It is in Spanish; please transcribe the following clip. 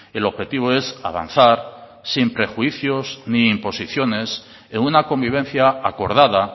el objetivo es avanzar sin prejuicios ni imposiciones en una convivencia acordada